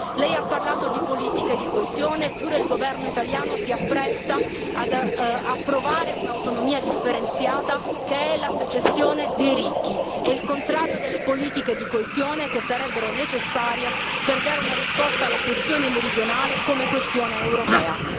Lei ha parlato di politica di coesione, eppure il Governo italiano si appresta ad approvare un'autonomia differenziata che è la secessione dei ricchi, è il contrario delle politiche di coesione che sarebbero necessarie per dare una risposta alla questione meridionale come questione europea.